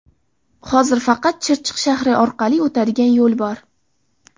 Hozir faqat Chirchiq shahri orqali o‘tadigan yo‘l bor.